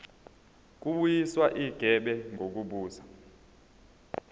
kubuyiswa igebe ngokubuza